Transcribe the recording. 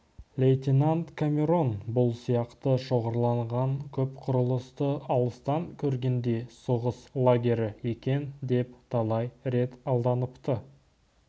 лейтенант камерон бұл сияқты шоғырланған көп құрылысты алыстан көргенде соғыс лагері екен деп талай рет алданыпты